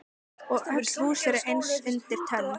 Og öll hús eru eins undir tönn.